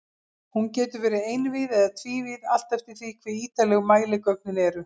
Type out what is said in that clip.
Hún getur verið einvíð eða tvívíð, allt eftir því hve ítarleg mæligögnin eru.